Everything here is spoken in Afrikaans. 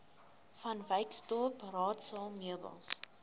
vanwyksdorp raadsaal meubels